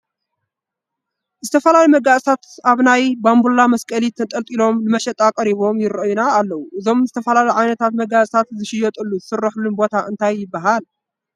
ዝተፈላለዩ መጋየፅታት ኣብ ናይ ባንቡላ መስቀሊ ተንጠልጢሎም ንመሸጣ ቀሪቦም ይርአዩና ኣለዉ፡፡ እዞም ዝተፈላለዩ ዓይነታት መጋየፅታት ዝሽየጥሉን ዝስርሕሉን ቦታ እንታይ ይበሃል?